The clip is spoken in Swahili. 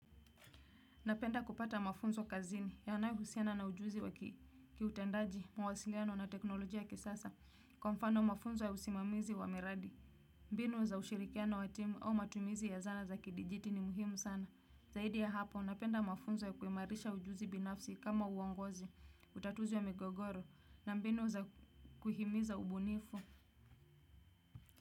Napenda kupata mafunzo kazini yanayohusiana na ujuzi wa kiutendaji, mawasiliano na teknolojia ya kisasa. Kwa mfano mafunzo ya usimamizi wa miradi. Mbinu za ushirikiano wa timu au matumizi ya zana za kidijiti ni muhimu sana. Zaidi ya hapo, napenda mafunzo ya kuimarisha ujuzi binafsi kama uongozi, utatuzi wa migogoro, na mbinu za kuhimiza ubunifu.